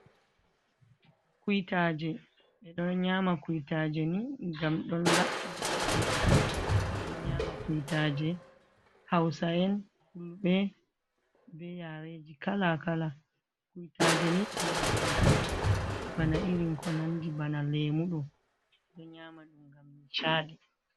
Kuitaje ɓeɗon nyama kuitaje ni ngam ɗon laɓɓina gite, ɓeɗon nyama kuwitaje, hausayen fulɓe be yareji kala kala, kuitaje ni nyamdu on bana irin ko nandi bana lemuɗo ɓeɗon nyama ɗum mgam ni caɗi.